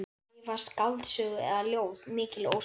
Skrifa skáldsögu eða ljóð, mikil ósköp.